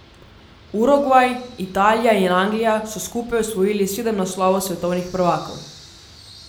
Urugvaj, Italija in Anglija so skupaj osvojili sedem naslovov svetovnih prvakov.